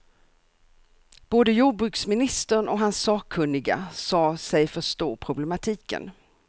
Både jordbruksministern och hans sakkunniga sade sig förstå problematiken.